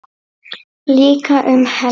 Líka um helgar.